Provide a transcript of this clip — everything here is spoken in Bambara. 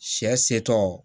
Sɛ setɔ